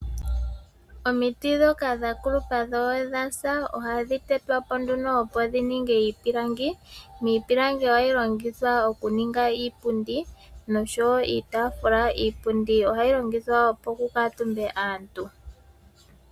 Omiti dhoka dha kulupa dho odha sa ohadhi tetwapo nduno opo dhi longe iipilangi, niipilangi ohayi longithwa oku ninga iipundi noshowo iitaafula, iipundi ohayi longithwa opo ku kaatumbe aantu